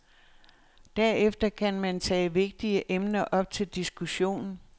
Derefter kan man tage vigtige emner op til diskussion.